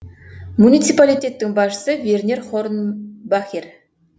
муниципалитеттің басшысы вернер хорнбахер